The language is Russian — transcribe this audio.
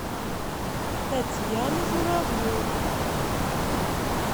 татьяну журавлеву